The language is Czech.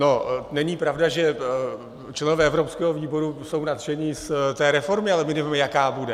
No není pravda, že členové evropského výboru jsou nadšeni z té reformy, ale my nevíme, jaká bude.